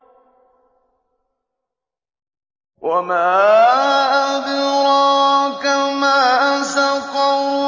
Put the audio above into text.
وَمَا أَدْرَاكَ مَا سَقَرُ